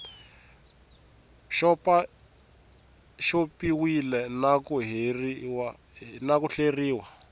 xopaxop iwile na ku hleriwa